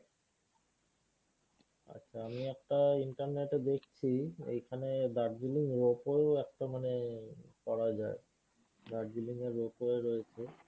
আচ্ছা আমি একটা internet এ দেখছি এইখানে দার্জিলিং rope wayরও একটা মানে করা যায়। দার্জিলিং এ rope way রয়েছে